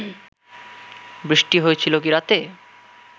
বৃষ্টি হয়েছিল কি রাতে